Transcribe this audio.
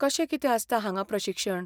कशें कितें आसता हांगां प्रशिक्षण?